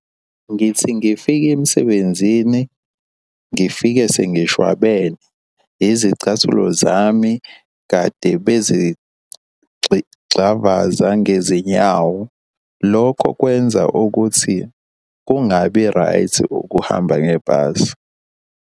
Ngithi ngifika emsebenzini ngifike sengishwabene. Izicathulo zami kade gxavaza ngezinyawo. Lokho kwenza ukuthi kungabi right ukuhamba ngebhasi.